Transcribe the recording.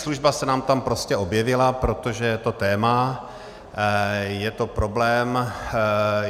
Taxislužba se nám tam prostě objevila, protože je to téma, je to problém.